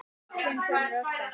Þinn sonur, Óskar.